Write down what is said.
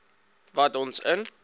wat ons in